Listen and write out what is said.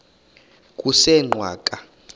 kusengwaqa